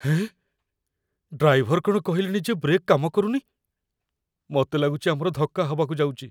ଏଁ, driver କ'ଣ କହିଲେଣି ଯେ ବ୍ରେକ୍ କାମ କରୁନି । ମତେ ଲାଗୁଚି ଆମର ଧକ୍କା ହବାକୁ ଯାଉଚି ।